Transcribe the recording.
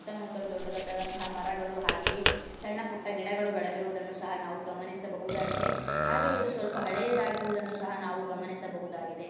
ಸುತ್ತಮುತ್ತಲು ದೊಡ್ಡದಾದಂತ ಮರಗಳು ಹಾಗೆಯೇ ಸಣ್ಣ ಪುಟ್ಟ ಗಿಡಗಳು ಬೆಳೆದಿರುವುದನ್ನು ಸಹ ನಾವು ಗಮನಿಸಬಹುದಾಗಿದೆ ಹಾಗೆಯೇ ಇದು ಹಳೆಯದಾಗಿರುವುದನ್ನು ಸಹ ನಾವು ಗಮನಿಸಬಹುದಾಗಿದೆ.